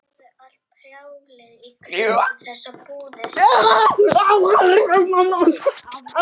Þess vegna reynir hann að halda því leyndu, sagði Örn.